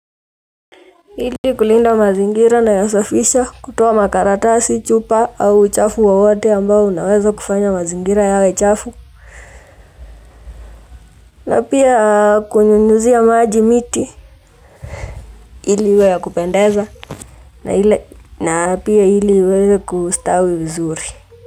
Ili kulinda mazingira nayasafisha kutoa makaratasi chupa au uchafu wowote ambao unaweza kufanya mazingira yawe chafu na pia kunyunyuzia maji miti ili iwe ya kupendeza na pia ili iweze kustawi vizuri.